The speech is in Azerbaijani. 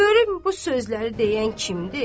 Görüm bu sözləri deyən kimdir?